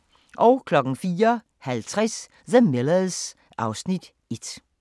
04:50: The Millers (Afs. 1)